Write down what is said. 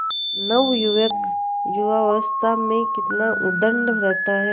नवयुवक युवावस्था में कितना उद्दंड रहता है